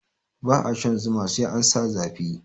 Ba a shan zuma sai an sa zafi